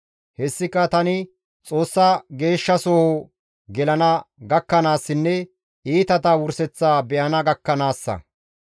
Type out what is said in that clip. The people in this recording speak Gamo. Hessika tani Xoossa Geeshshasoho gelana gakkanaassinne iitata wurseththa be7ana gakkanaassa.